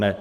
Ne.